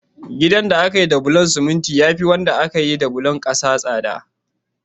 Ginin da aka yi da bulon siminti ya fi wanda aka yi da bulon ƙasa tsada.